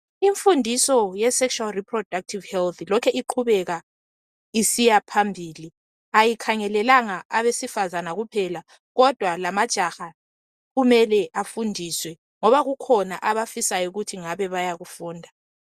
Imfundiso ye sexual reproductive health lokhe iqhubeka isiyaphambili. Ayikhangelelanga abesifazana kuphela kodwa lamajaha kumele afundiswe ngoba kukhona abafisa ukuthi ngabe bayakufunda